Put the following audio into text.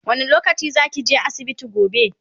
wani lokaci zakije asibiti gobe?